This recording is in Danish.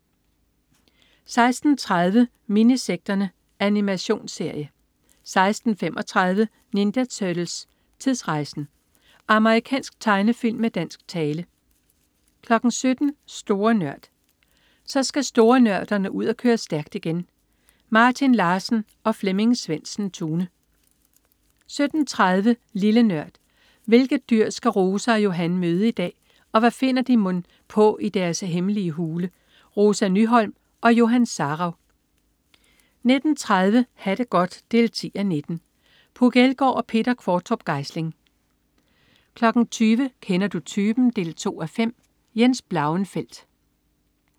16.30 Minisekterne. Animationsserie 16.35 Ninja Turtles: Tidsrejsen! Amerikansk tegnefilm med dansk tale 17.00 Store Nørd. Så skal storenørderne ud at køre stærkt igen! Martin Larsen og Flemming Svendsen-Tune 17.30 Lille Nørd. Hvilket dyr skal Rosa og Johan møde i dag, og hvad finder de mon på i deres hemmelige hule? Rosa Nyholm og Johan Sarauw 19.30 Ha' det godt 10:19. Puk Elgård og Peter Qvortrup Geisling 20.00 Kender du typen? 2:5. Jens Blauenfeldt